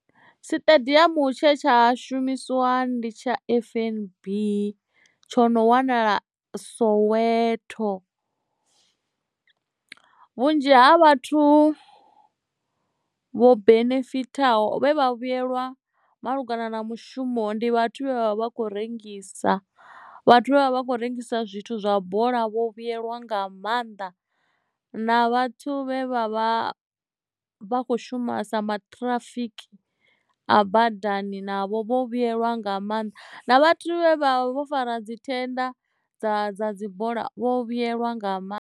Siṱediamu tshe tsha shumisiwa ndi tsha F_N_B tsho no wanala soweto vhunzhi ha vhathu vho benefitha ho vhe vha vhuyelwa malugana na mushumo ndi vhathu vhe vha vha khou rengisa vhathu vha vha khou rengisa zwithu zwa bola vho vhuyelwa nga maanḓa na vhathu vhe vha vha vha kho shuma sa matirafiki a badani navho vho vhuyelwa nga maanḓa na vhathu vha vho fara dzi thenda dza dza dzibola vho vhuyelwa nga mannḓa.